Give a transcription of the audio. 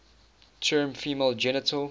term female genital